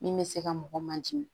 Min bɛ se ka mɔgɔ man jigi